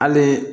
Hali